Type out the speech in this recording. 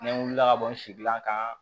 Ne wulila ka bɔ n sigila kan